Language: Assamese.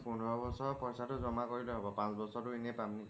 পোন্ধৰ বছৰ পইছা টো জমা কৰিলে হব পাঁচ বছৰ টো এনে পাম নেকি